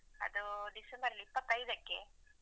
ಅದು December ಇಪ್ಪತ್ತೈದಕ್ಕೆ.